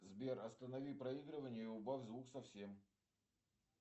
сбер останови проигрывание и убавь звук совсем